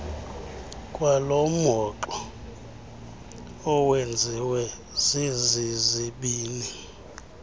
kwalomhoxo owenziwe zezizibini